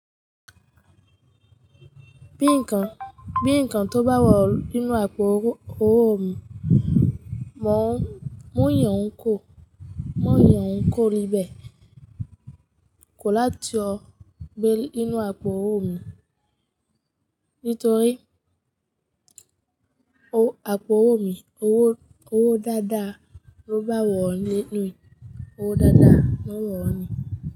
Bí ǹkan, bí ǹkan tó bá wọ̀ nínú àpò owó mi, mo ń yàn ko, mo ń yàn ko ribẹ̀, kò láti o gbé nínú àpò owó mi. Nítorí àpò owó mi, owó dáadáa ló bá wọ̀ ní, owó dáadáa ló wọ̀ ní.